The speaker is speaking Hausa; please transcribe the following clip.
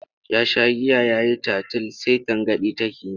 Ya sha giya ya yi tatil sai tangaɗi take yi.